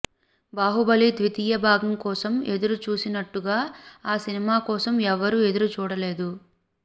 బాహుబలి ద్వితీయ భాగం కోసం ఎదురు చూసినట్టుగా ఆ సినిమా కోసం ఎవ్వరూ ఎదురు చూడలేదు